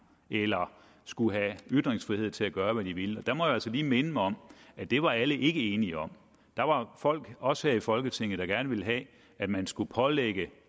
eller skulle have ytringsfrihed til at gøre hvad den ville der må jeg altså lige minde om at det var alle ikke enige om der var folk også her i folketinget der gerne ville have at man skulle pålægge